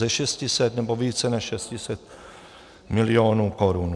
Ze 600, nebo více než 600 milionů korun.